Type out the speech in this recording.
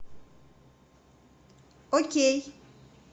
окей